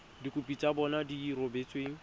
dikopo tsa bona di rebotsweng